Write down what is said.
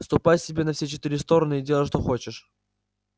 ступай себе на все четыре стороны и делай что хочешь